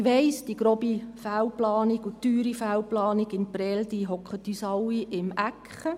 Ich weiss, die grobe Fehlplanung, die teure Fehlplanung in Prêles sitzt uns allen im Nacken.